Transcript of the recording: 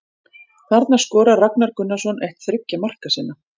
Þarna skorar Ragnar Gunnarsson eitt þriggja marka sinna